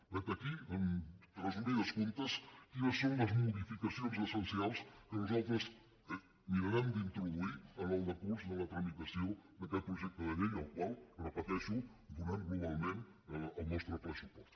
vet aquí en resum quines són les modificacions essencials que nosaltres mirarem d’introduir en el decurs de la tramitació d’aquest projecte de llei al qual ho repeteixo donem globalment el nostre ple suport